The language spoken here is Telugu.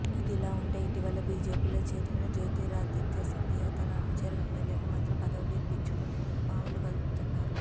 ఇదిలావుంటే ఇటీవల బీజేపీలో చేరిన జోతిరాధిత్య సింధియా తన అనుచర ఎమ్మెల్యేలకు మంత్రి పదవులు ఇప్పించుకునేందుకు పావులు కదుపుతున్నారు